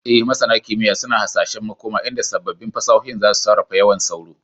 E, Masana kimiyya suna hasashen makoma inda sabbin fasahohin za su sarrafa yawan sauro.